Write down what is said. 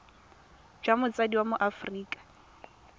jwa motsadi wa mo aforika